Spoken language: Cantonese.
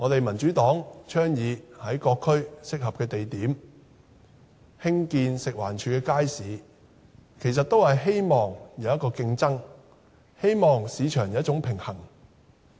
民主黨倡議在各區合適的地點興建食物環境衞生署的街市，其實也是希望有競爭，希望市場有一種平衡。